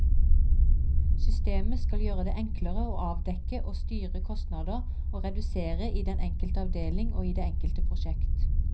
Systemet skal gjøre det enklere å avdekke og styre kostnader og ressurser i den enkelte avdeling og i det enkelte prosjekt.